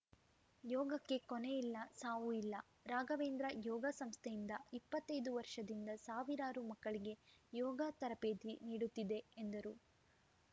ಯೋಗಕ್ಕೆ ಕೊನೆ ಇಲ್ಲ ಸಾವು ಇಲ್ಲ ರಾಘವೇಂದ್ರ ಯೋಗ ಸಂಸ್ಥೆಯಿಂದ ಇಪ್ಪತ್ತ್ ಐದು ವರ್ಷದಿಂದ ಸಾವಿರಾರು ಮಕ್ಕಳಿಗೆ ಯೋಗ ತರಬೇತಿ ನೀಡುತ್ತಿದೆ ಎಂದರು